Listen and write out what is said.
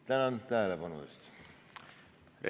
Tänan tähelepanu eest!